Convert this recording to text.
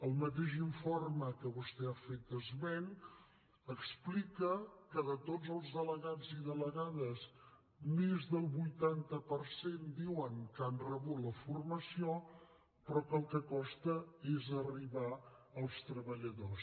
el mateix informe de què vostè ha fet esment explica que de tots els delegats i delegades més del vuitanta per cent diuen que han rebut la formació però que el que costa és arribar als treballadors